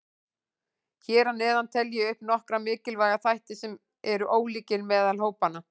Hér að neðan tel ég upp nokkra mikilvæga þætti sem eru ólíkir meðal hópanna.